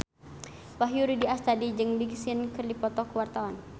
Wahyu Rudi Astadi jeung Big Sean keur dipoto ku wartawan